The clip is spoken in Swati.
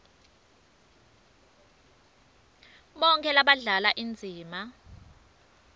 bonkhe labadlala indzima